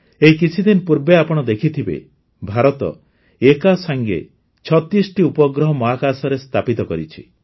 ଏଇ କିଛିଦିନ ପୂର୍ବେ ଆପଣ ଦେଖିଥିବେ ଭାରତ ଏକାସାଙ୍ଗେ ୩୬ଟି ଉପଗ୍ରହ ମହାକାଶରେ ସ୍ଥାପିତ କରିଛି